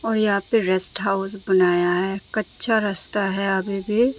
और यहां पे रेस्ट हाउस बनाया है कच्चा रास्ता है अभी भी।